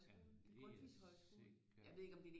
Jamen det er sikkert